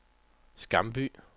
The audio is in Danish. Skamby